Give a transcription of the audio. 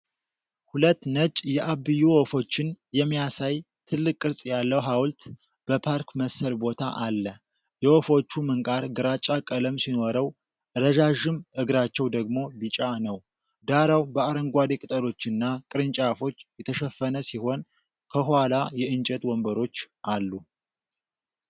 ሁለት ነጭ የአብዬ ወፎችን የሚያሳይ ትልቅ ቅርጽ ያለው ሐውልት በፓርክ መሰል ቦታ አለ። የወፎቹ ምንቃር ግራጫ ቀለም ሲኖረው፣ ረዣዥም እግራቸው ደግሞ ቢጫ ነው። ዳራው በአረንጓዴ ቅጠሎችና ቅርንጫፎች የተሸፈነ ሲሆን፣ ከኋላ የእንጨት ወንበሮች አሉ።